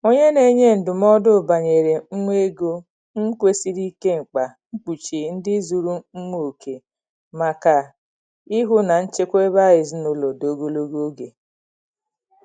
Onye na-enye ndụmọdụ banyere um ego um kwusiri ike mkpa mkpuchi ndụ zuru um oke maka ịhụ na nchekwa ezinụlọ dị ogologo oge.